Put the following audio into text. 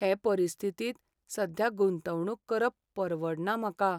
हे परिस्थितींत सध्या गुंतवणूक करप परवडना म्हाका.